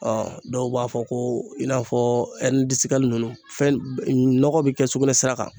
dɔw b'a fɔ ko i n'a fɔ ninnu fɛn nɔgɔ be kɛ sugunɛsira kan